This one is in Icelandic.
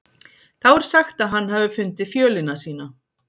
Þá er sagt að hann hafi fundið fjölina sína.